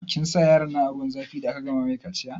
Kin sa yaronnan a zuwan zafi da aka gama mai kaciya?